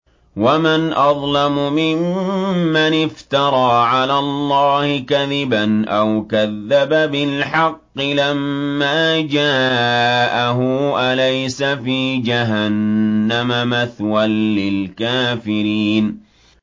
وَمَنْ أَظْلَمُ مِمَّنِ افْتَرَىٰ عَلَى اللَّهِ كَذِبًا أَوْ كَذَّبَ بِالْحَقِّ لَمَّا جَاءَهُ ۚ أَلَيْسَ فِي جَهَنَّمَ مَثْوًى لِّلْكَافِرِينَ